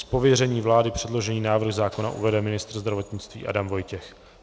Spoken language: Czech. Z pověření vlády předložený návrh zákona uvede ministr zdravotnictví Adam Vojtěch.